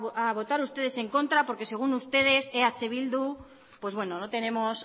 a votar ustedes en contra porque según ustedes eh bildu pues bueno no tenemos